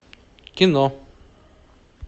кино